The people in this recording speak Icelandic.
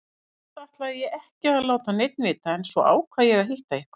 Fyrst ætlaði ég ekki að láta neinn vita en svo ákvað ég að hitta ykkur.